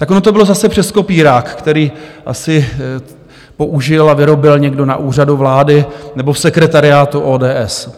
Tak ono to bylo zase přes kopírák, který asi použil a vyrobil někdo na Úřadu vlády nebo v sekretariátu ODS.